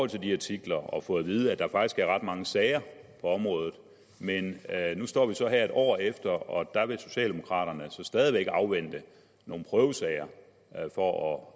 de her artikler og fået at vide at der faktisk er ret mange sager på området nu står vi så her et år efter og der vil socialdemokraterne altså stadig væk afvente nogle prøvesager for at